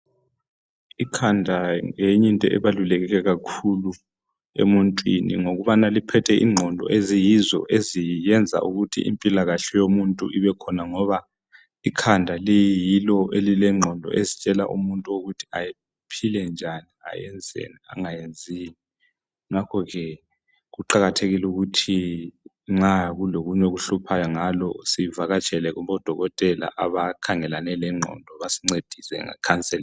Ikhanda ngenye into ebaluleke kakhulu emuntwini, ngokubana liphethe ingqondo. Eziyizo eziyenza ukuthi impilakahle yomuntu ibekhona, ngoba . ikhanda liyilo elilengqondo, ezitshela umuntu ukuthi aphile njani. Ayenzeni, angayenzini. Ngakho ke kuqakathekile ukuthi nxa kulokunye okuhluphayo ngalo. Sivakatshele kubodokotela abakhangelane lengqondo. Basincedise ngecounselling.